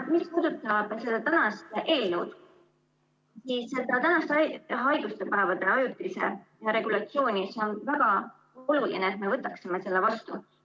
Mis puudutab seda tänast eelnõu, siis ...... haiguspäevade ajutise hüvitamise regulatsiooni, mis on väga oluline, et me võtaksime selle vastu.